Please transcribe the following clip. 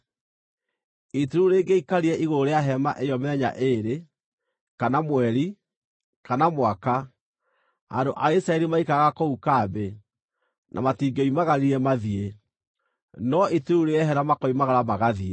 Itu rĩu rĩngĩaikarire igũrũ rĩa hema ĩyo mĩthenya ĩĩrĩ, kana mweri, kana mwaka, andũ a Isiraeli maikaraga kũu kambĩ, na matingĩoimagarire mathiĩ, no itu rĩu rĩehera makoimagara magathiĩ.